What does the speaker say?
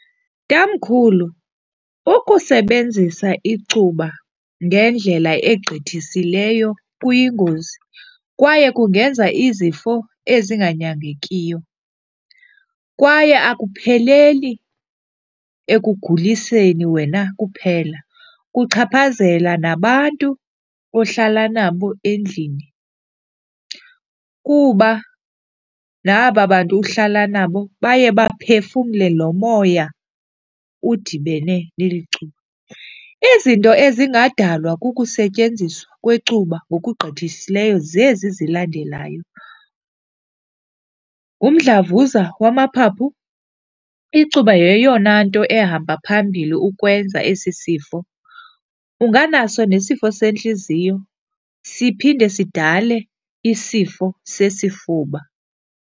Tamkhulu, ukusebenzisa icuba ngendlela egqithisileyo kuyingozi kwaye kungenza izifo ezinganyangekiyo, kwaye akupheleli ekuguliseni wena kuphela. Kuchaphazela nabantu ohlala nabo endlini kuba naba bantu uhlala nabo baye baphefumle lo moya udibene neli cuba. Izinto ezingadalwa kukusetyenziswa kwecuba ngokugqithisileyo zezi zilandelayo, ngumdlavuza wamaphaphu, icuba yeyona nto ehamba phambili ukwenza esi sifo. Unganaso nesifo sentliziyo, siphinde sidale isifo sesifuba.